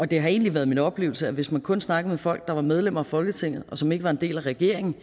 det har egentlig været min oplevelse at man hvis man kun snakker med folk der er medlemmer af folketinget og som ikke er en del af regeringen